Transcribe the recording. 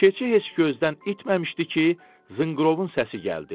Keçi heç gözdən itməmişdi ki, zınqırovun səsi gəldi.